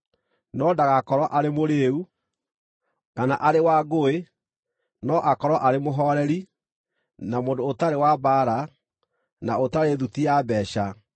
No ndagakorwo arĩ mũrĩĩu, kana arĩ wa ngũĩ, no akorwo arĩ mũhooreri, na mũndũ ũtarĩ wa mbaara, na ũtarĩ thuti ya mbeeca.